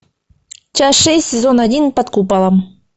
часть шесть сезон один под куполом